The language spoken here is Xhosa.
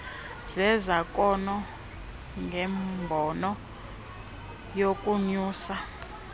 zezakhono ngembono yokunyusa